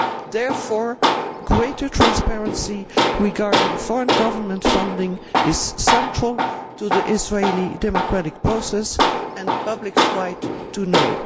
Therefore, greater transparency regarding foreign government funding is central to the Israeli democratic process and the public's right to know.'